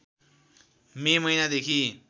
मे महिनादेखि